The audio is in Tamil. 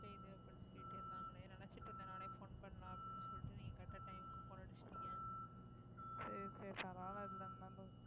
சரி சரி பரவாயில்லை இதுல என்ன இருக்கு